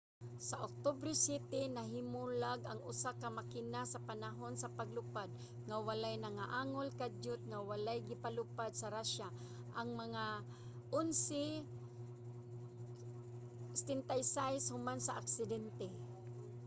sa oktubre 7 nahimulag ang usa ka makina sa panahon sa paglupad nga walay nangaangol. kadiyot nga wala gipalupad sa russia ang mga il-76 human sa aksidente